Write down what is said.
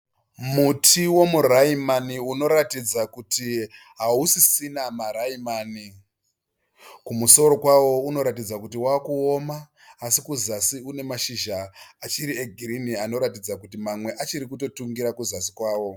Muti womu raimani unoratidza kuti hausisina ma raimani. Kumusoro kwao unoratidza kuti wakuoma asi kuzasi une mashizha achiri e girini anoratidza kuti mamwe achirikutotungira kuzasi kwao.